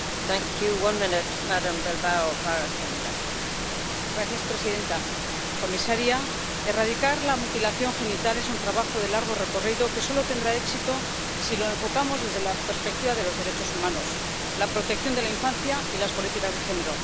Señora presidenta, comisaria, erradicar la mutilación genital es un trabajo de largo recorrido que solo tendrá éxito si lo enfocamos desde la perspectiva de los derechos humanos, la protección de la infancia y las políticas de género.